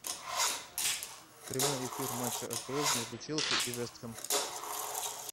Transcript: прямой эфир матча апл между челси и вест хэм